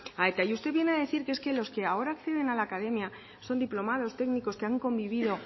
a eta y usted viene a decir que es que ahora acceden a la academia son diplomados técnicos que han convivido